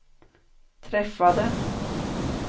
träffade